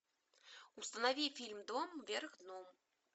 установи фильм дом вверх дном